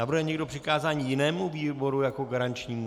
Navrhuje někdo přikázání jinému výboru jako garančnímu?